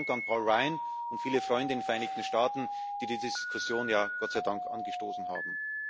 Deswegen auch Dank an Paul Ryan und viele Freunde in den Vereinigten Staaten, die die Diskussion ja Gott sei Dank angestoßen haben.